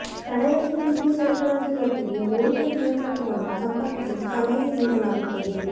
ತಡೆರಹಿತ ವಿದ್ಯುತ್ ಸರಬರಾಜು ಜೊತೆಗೆ ವೋಲ್ಟೇಜ್ ನಿಯಂತ್ರಕವನ್ನು ಸಂಪರ್ಕಿಸಲು ಸಲಹೆ ನೀಡಲಾಗುತ್ತದೆ